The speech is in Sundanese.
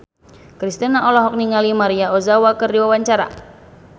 Kristina olohok ningali Maria Ozawa keur diwawancara